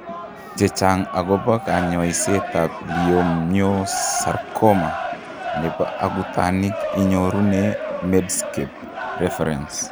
Chechang' akobo kanyoisetab Leiomyosarcoma nebo akutanik inyorune Medscape reference.